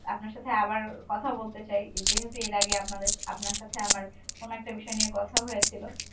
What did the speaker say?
আপনার সাথে আবার কথা বলতে চাই যেহেতু এর আগে আপনাদের~আপনার সাথে আমার কোন একটা বিষয় নিয়ে কথা হয়েছিল